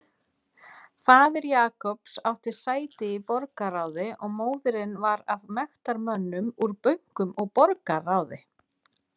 Faðir Jacobs átti sæti í borgarráði og móðirin var af mektarmönnum úr bönkum og borgarráði.